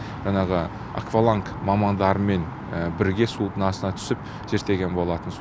жаңағы акваланг мамандарымен бірге судың астына түсіп зерттеген болатын